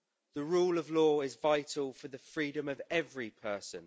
The rule of law is vital for the freedom of every person.